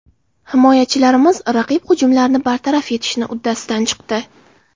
Himoyachilarimiz raqib hujumlarini bartaraf etishni uddasidan chiqdi.